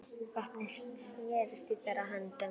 Vopnin snerust í þeirra höndum.